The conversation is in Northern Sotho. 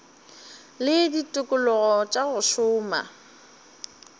le ditikologo tša go šoma